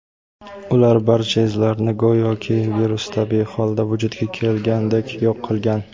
ular barcha izlarni go‘yoki virus tabiiy holda vujudga kelgandek yo‘q qilgan.